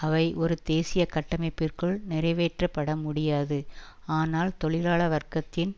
அவை ஒரு தேசிய கட்டமைப்பிற்குள் நிறைவேற்றப்பட முடியாது ஆனால் தொழிலாள வர்க்கத்தின்